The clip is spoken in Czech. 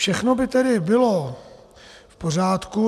Všechno by tedy bylo v pořádku.